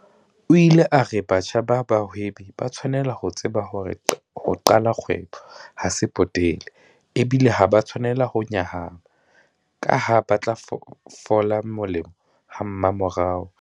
O ile a re batjha ba bahwebi ba tshwanela ho tseba hore ho qala kgwebo ha se potele, ebile ha ba a tshwanela ho nyahama kaha ba tla fola molemo hamamorao.